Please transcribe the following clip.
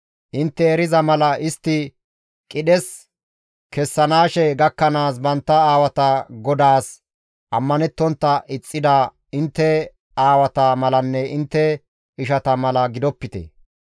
Intte eriza mala istti qidhes kezanaashe gakkanaas bantta aawata GODAAS ammanettontta ixxida intte aawata malanne intte ishata mala gidopite.